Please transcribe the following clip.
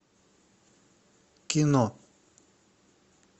кино